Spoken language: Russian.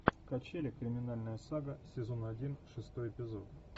качели криминальная сага сезон один шестой эпизод